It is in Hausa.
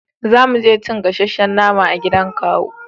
za muje cin gasashen nama a gidan kawu